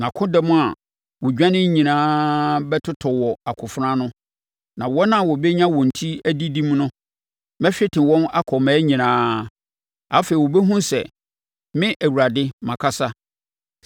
Nʼakodɔm a wɔredwane nyinaa bɛtotɔ wɔ akofena ano, na wɔn a wɔbɛnya wɔn ti adidim no, mɛhwete wɔn akɔ mmaa nyinaa. Afei wobɛhunu sɛ me Awurade makasa.